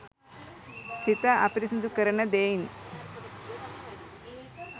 සිත අපිරිසිදු කරන දෙයින්